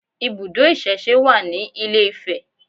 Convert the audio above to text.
Ibùdó ìsẹ̀se wà ní ilé-Ifẹ̀